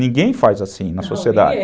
Ninguém faz assim na sociedade. Não, ninguém